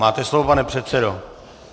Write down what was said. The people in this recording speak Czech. Máte slovo, pane předsedo.